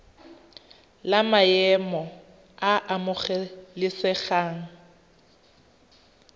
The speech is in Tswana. la maemo a a amogelesegang